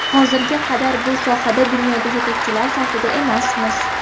Hozirga qadar bu sohada dunyoda yetakchilar safida emasmiz.